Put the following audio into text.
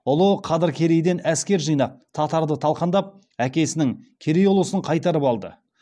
ұлы қадыр керейден әскер жинап татарды талқандап әкесінің керей ұлысын қайтарып алды